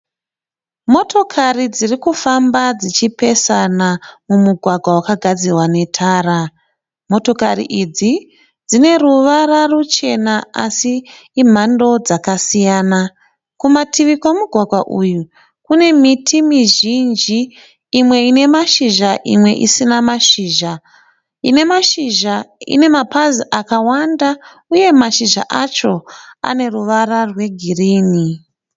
Motokari dzirikufamba dzichipesana mumugwagwa wakagadzirwa netara. Motokari idzi dzine ruvara ruchena asi imhando dzakasiyana. Kumativi kwomugwagwa uyu kune miti mizhinji, imwe ine mashizha imwe isina mashizha. Ine mashizha ine mapazi akawanda uye mashizha acho aneruvara rwegirini.